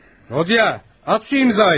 Rodiya, at bu imzayı!